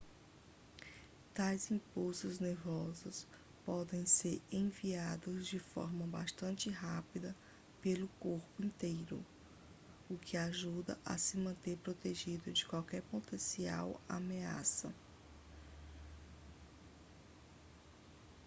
tais impulsos nervosos podem ser enviados de forma bastante rápida pelo corpo inteiro o que o ajuda a se manter protegido de qualquer potencial ameaça